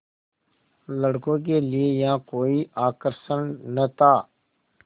लड़कों के लिए यहाँ कोई आकर्षण न था